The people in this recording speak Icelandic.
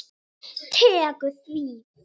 Tekur því?